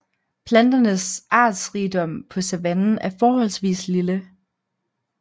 Planternes artsrigdom på savannen er forholdsvis lille